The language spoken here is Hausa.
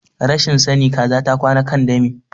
Rashin sani Kaza ta kwana kan dami.